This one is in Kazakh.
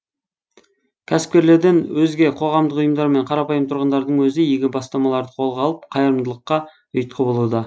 кәсіпкерлерден өзге қоғамдық ұйымдар мен қарапайым тұрғындардың өзі игі бастамаларды қолға алып қайырымдылыққа ұйытқы болуда